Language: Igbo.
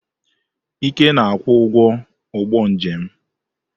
Ike na-akwụ ụgwọ ụgbọ njem m.